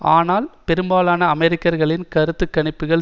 ஆனால் பெரும்பாலான அமெரிக்கர்களின் கருத்து கணிப்புக்கள்